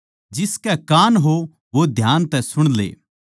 जिसके कान हों वो ध्यान तै सुण ले